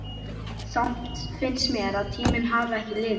Samt finnst mér að tíminn hafi ekki liðið.